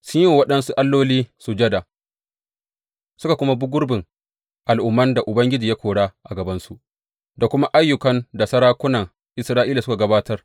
Sun yi wa waɗansu alloli sujada suka kuma bi gurbin al’umman da Ubangiji ya kora a gabansu, da kuma ayyukan da sarakuna Isra’ila suka gabatar.